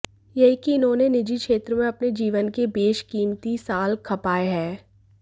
यही कि इन्होंने निजी क्षेत्र में अपने जीवन के बेशकीमती साल खपाएं हैं